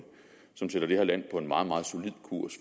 som sætter det her land på en meget meget solid kurs